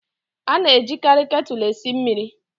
A na-ejikarị ketulu esi mmiri